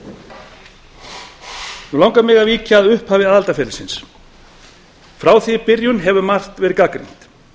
nú langar mig að víkja að upphafi aðildarferlisins frá því í byrjun hefur margt verið gagnrýnt